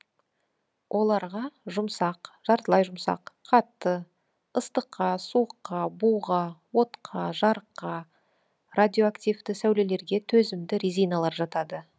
оларға жұмсақ жартылай жұмсақ қатты ыстыққа суыққа буға отқа жарыққа радиоактивті сәулелерге төзімді резиналар жатады